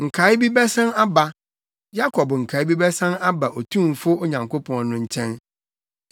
Nkae bi bɛsan aba, Yakob nkae bi bɛsan aba Otumfo Onyankopɔn no nkyɛn.